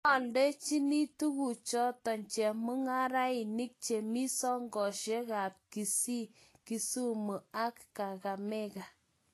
oldochini tukuchoto chemung'arainik chemi sokesiekab Kisii, Kisumu ak Kakamega